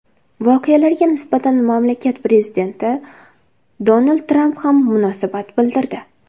Voqealarga nisbatan mamlakat Prezidenti Donald Tramp ham munosabat bildirdi.